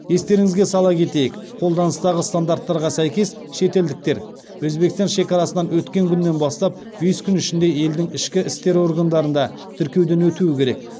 естеріңізге сала кетейік қолданыстағы стандарттарға сәйкес шетелдіктер өзбекстан шекарасынан өткен күннен бастап бес күн ішінде елдің ішкі істер органдарында тіркеуден өтуі керек